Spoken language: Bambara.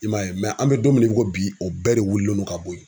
I m'a ye an bɛ don min na i ko bi o bɛɛ de wulilen don ka bɔ yen.